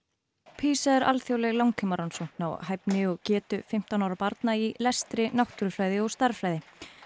PISA er alþjóðleg langtímarannsókn á hæfni og getu fimmtán ára barna í lestri náttúrufræði og stærðfræði